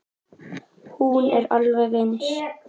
Hún er alveg eins.